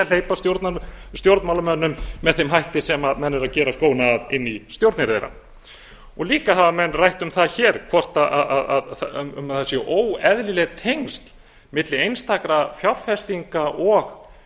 hleypa stjórnmálamönnum með þeim hætti sem menn eru að gera skóna að inn í stjórnir þeirra menn hafa líka rætt um það hér hvort það séu óeðlileg tengsl milli einstakra fjárfestinga og